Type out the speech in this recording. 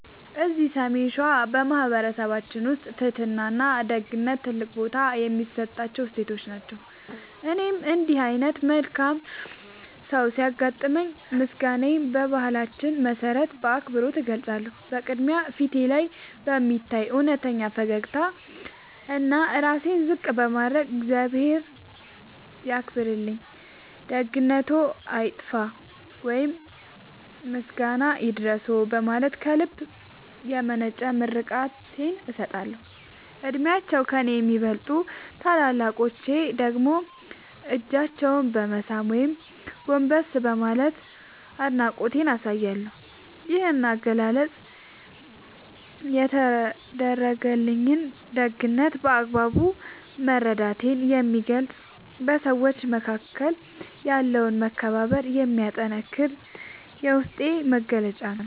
እዚህ ሰሜን ሸዋ በማኅበረሰባችን ውስጥ ትሕትናና ደግነት ትልቅ ቦታ የሚሰጣቸው እሴቶች ናቸው። እኔም እንዲህ ዓይነት መልካም ሰው ሲያጋጥመኝ ምስጋናዬን በባህላችን መሠረት በአክብሮት እገልጻለሁ። በቅድሚያ፣ ፊቴ ላይ በሚታይ እውነተኛ ፈገግታና ራሴን ዝቅ በማድረግ "እግዚአብሔር ያክብርልኝ፣ ደግነትዎ አይጥፋ" ወይም "ምስጋና ይድረስዎ" በማለት ከልብ የመነጨ ምርቃቴን እሰጣለሁ። ዕድሜያቸው ከእኔ ለሚበልጡ ታላላቆች ደግሞ እጃቸውን በመሳም ወይም ጎንበስ በማለት አድናቆቴን አሳያለሁ። ይህ አገላለጽ የተደረገልኝን ደግነት በአግባቡ መረዳቴን የሚገልጽና በሰዎች መካከል ያለውን መከባበር የሚያጠነክር የውስጤ መግለጫ ነው።